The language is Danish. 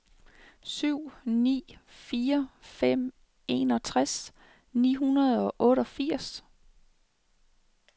syv ni fire fem enogtres ni hundrede og otteogfirs